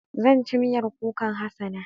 Zan ci miyar kukan Hassana.